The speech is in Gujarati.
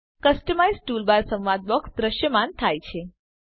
કસ્ટમાઈઝ ટૂલબાર સંવાદ બોક્સ દ્રશ્યમાન થાય છે